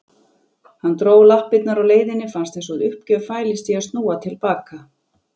Hann dró lappirnar á leiðinni, fannst einsog uppgjöf fælist í að snúa til baka.